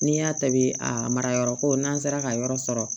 N'i y'a ta bi a marayɔrɔ ko n'an sera ka yɔrɔ sɔrɔ